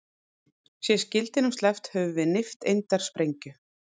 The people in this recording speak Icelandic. Sé skildinum sleppt höfum við nifteindasprengju.